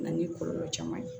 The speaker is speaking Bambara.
Na ni kɔlɔlɔ caman ye